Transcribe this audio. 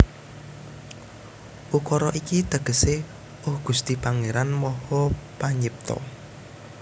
Ukara iki tegesé Oh Gusti Pangéran Maha Panyipta